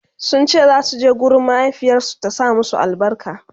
sunce zasu je gurin mahaifiyarsu ta sa musu albarka